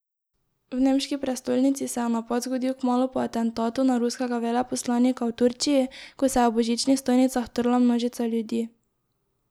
V nemški prestolnici se je napad zgodil kmalu po atentatu na ruskega veleposlanika v Turčiji, ko se je ob božičnih stojnicah trla množica ljudi.